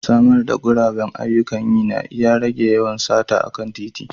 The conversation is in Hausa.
Samar da guraben ayyukan yi na iya rage yawan sata a kan titi.